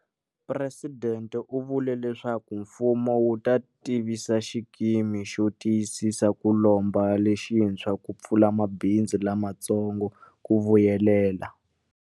Presidente u vule leswaku mfumo wu ta tivisa xikimi xo tiyisisa ku lomba lexintshwa ku pfuna mabindzu lamatsongo ku vuyelela.